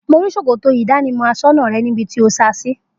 Mo rí s̩òkòtò ìdánimọ̀ as̩ó̩nà re̩ níbi tí o sa sí